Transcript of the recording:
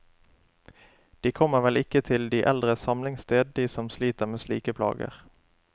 De kommer vel ikke til de eldres samlingssted, de som sliter med slike plager.